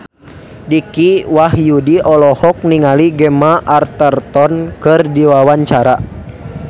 Dicky Wahyudi olohok ningali Gemma Arterton keur diwawancara